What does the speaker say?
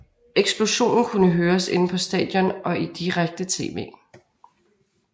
Eksplosionen kunne høres inde på stadion og i direkte TV